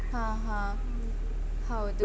ಹ ಹ ಹೌದು.